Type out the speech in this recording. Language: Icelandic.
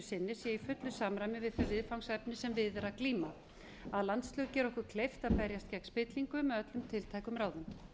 sé í fullu samræmi við þau viðfangsefni sem við er að glíma að landslög gera okkur kleift að berjast gegn spillingu með öllum tiltækum ráðum